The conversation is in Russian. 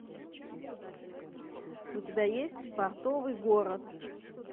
у тебя есть портовый город